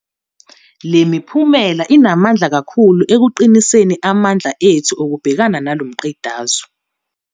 Le miphumela inamandla kakhulu ekuqiniseni amandla ethu okubhekana nalo mqedazwe.